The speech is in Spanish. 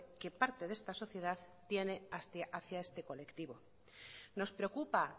que parte de esta sociedad tiene hacia este colectivo nos preocupa